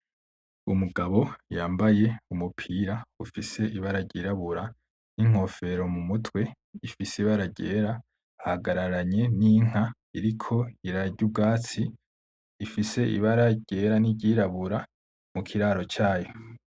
Umugabo yambaye umupira ufise ibara ryirabura n'inkofero mumtwe ifise ibara ryera ahagararanye n'inka iriko irarya ubwatsi ifise ibara ryera n'iryirabura mukiraro cayo.